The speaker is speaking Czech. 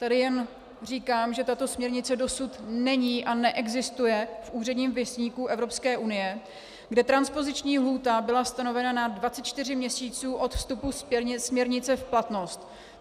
Tady jen říkám, že tato směrnice dosud není a neexistuje v Úředním věstníku Evropské unie, kde transpoziční lhůta byla stanovena na 24 měsíců od vstupu směrnice v platnost.